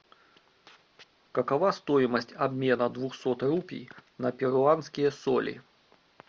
какова стоимость обмена двухсот рупий на перуанские соли